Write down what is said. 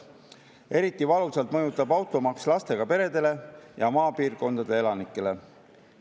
Eriti valusalt mõjutab automaks lastega peresid ja maapiirkondade elanikke.